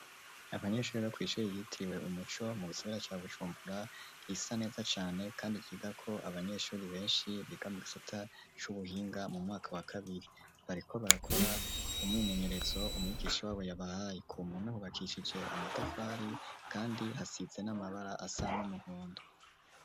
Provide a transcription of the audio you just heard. abanyeshure bokwishuri yitiwe umuco mu isobera cya gucumbura isa neza cyane kandi giga ko abanyeshuri benshi bigamugisata c'ubuhinga mu mwaka wa kabiri bariko barakora umwimenyeretso umuyigisha wabo yabahayi ku muntu hubakishije amatafari kandi hasitse n'amabara asa n'umuhondo.